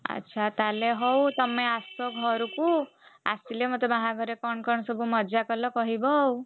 ଆଚ୍ଛା ତାହେଲେ ହଉ ତମେ ଆସ ଘରକୁ ଆସିଲେ ମତେ ବାହାଘରେ କଣ କଣ ସବୁ ମଜା କଲ କହିବ ଆଉ,